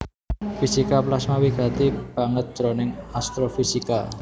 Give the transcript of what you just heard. Fisika plasma wigati banget jroning astrofisika